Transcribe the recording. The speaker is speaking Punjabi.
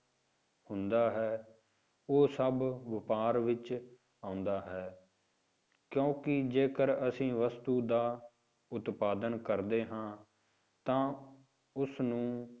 ਹੁੰਦਾ ਹੈ, ਉਹ ਸਭ ਵਾਪਾਰ ਵਿੱਚ ਆਉਂਦਾ ਹੈ, ਕਿਉਂਕਿ ਜੇਕਰ ਅਸੀਂ ਵਸਤੂ ਦਾ ਉਤਪਾਦਨ ਕਰਦੇ ਹਾਂ ਤਾਂ ਉਸਨੂੰ